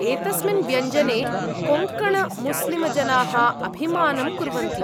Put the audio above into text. एतस्मिन् व्यञ्जने कोङ्कणमुस्लिमजनाः अभिमानं कुर्वन्ति।